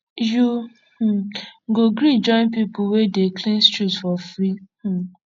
you um go gree join pipu wey dey clean street for free um